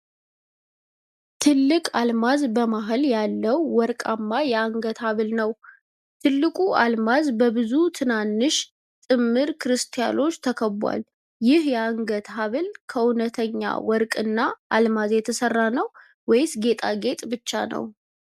ትልቅ አልማዝ መሃል ያለው ወርቃማ የአንገት ሐብል ነው። ትልቁ አልማዝ በብዙ ትናንሽ ጥምር ክሪስታሎች ተከቧል። ይህ የአንገት ሐብል ከእውነተኛ ወርቅ እና አልማዝ የተሰራ ነው ወይስ ጌጣጌጥ ብቻ ነው?